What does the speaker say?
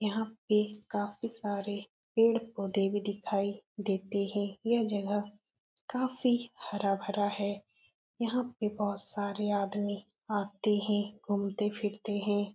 यहाँ पे काफी सारे पेड़-पौधे भी दिखाई देते हैं। यह जगह काफी हरा भरा है। यहाँ पे बहोत सारे आदमी आते हैं घूमते फिरते हैं।